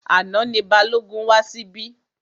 Àná ni Balógun wá síbí.